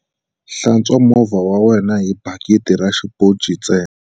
Hlantswa movha wa wena hi bakiti na xiponci ntsena.